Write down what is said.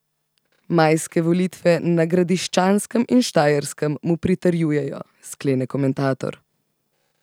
Majske volitve na Gradiščanskem in Štajerskem mu pritrjujejo, sklene komentator.